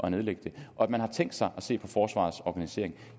at nedlægge den og at man har tænkt sig at se på forsvarets organisering